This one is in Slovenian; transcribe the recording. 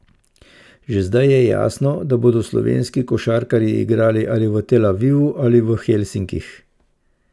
Že zdaj je jasno, da bodo slovenski košarkarji igrali ali v Tel Avivu ali Helsinkih.